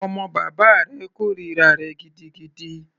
Ọmọ bàbá rẹ̀ kòrira rẹ̀ gidigidi.